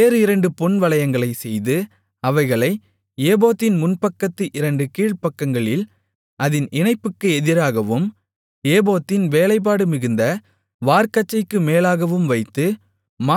வேறு இரண்டு பொன்வளையங்களைச் செய்து அவைகளை ஏபோத்தின் முன்பக்கத்து இரண்டு கீழ்ப்பக்கங்களில் அதின் இணைப்புக்கு எதிராகவும் ஏபோத்தின் வேலைப்பாடு மிகுந்த வார்க்கச்சைக்கு மேலாகவும் வைத்து